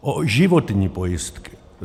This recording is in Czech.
O životní pojistky.